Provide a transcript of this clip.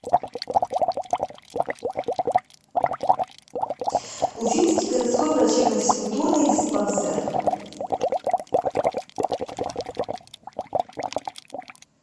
уфимский городской врачебно физкультурный диспансер